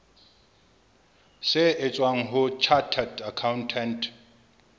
se tswang ho chartered accountant